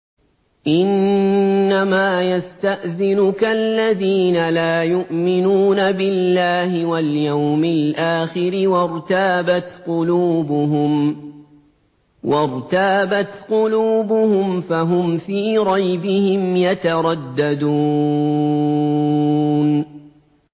إِنَّمَا يَسْتَأْذِنُكَ الَّذِينَ لَا يُؤْمِنُونَ بِاللَّهِ وَالْيَوْمِ الْآخِرِ وَارْتَابَتْ قُلُوبُهُمْ فَهُمْ فِي رَيْبِهِمْ يَتَرَدَّدُونَ